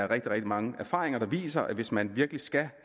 rigtig mange erfaringer der viser at hvis man virkelig skal